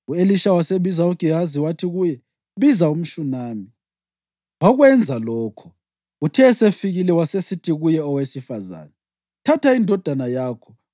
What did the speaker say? U-Elisha wabiza uGehazi wathi kuye, “Biza umShunami.” Wakwenza lokho. Uthe esefikile wasesithi kuye owesifazane, “Thatha indodana yakho.”